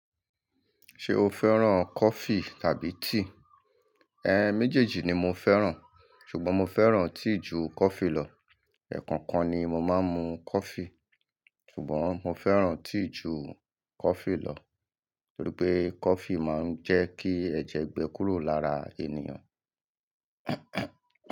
Ṣé o fẹ́ràn coffee tàbí tea? Ẹ̀n, méjèèjì ni mo fẹ́ràn. Ṣùgbọ́n mo fẹ́ràn tea ju coffee lọ. Ẹ̀ẹ̀kan kan ni mo máa ń mu coffee. Ṣùgbọ́n mo fẹ́ràn tea ju coffee lọ. Torí pé coffee máa ń jẹ́ kí ẹ̀jẹ̀ gbẹ kúrò lára ènìyàn.